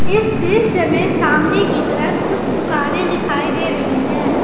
इस दृश्य में सामने की तरफ कुछ दुकानें दिखाई दे रही है।